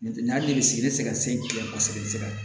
N'o tɛ nin y'ale sigi ne tɛ se ka se kosɛbɛ